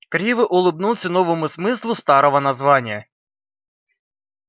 криво улыбнулся новому смыслу старого названия